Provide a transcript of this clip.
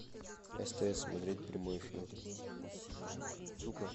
стс смотреть прямой эфир сука